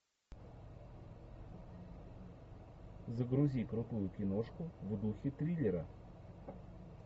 загрузи крутую киношку в духе триллера